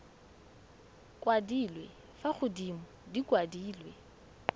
kwadilwe fa godimo di kwadilwe